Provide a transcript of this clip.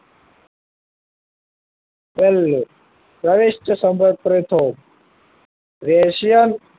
પહેલું પ્રવેશ સમર્થ રેશિયન